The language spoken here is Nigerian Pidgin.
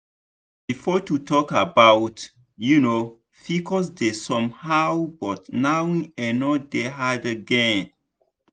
before to talk about um pcos dey somehow but now e no dey hard again.